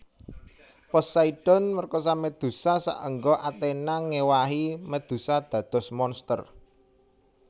Poseidon merkosa Medusa saengga Athena ngewahi Medusa dados monster